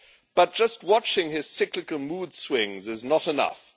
But just watching his cyclical mood swings is not enough